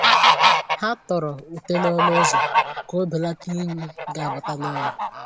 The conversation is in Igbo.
Ha tọrọ ute n’ọnụ ụzọ ka o belata inyi ga abata n’ụlọ.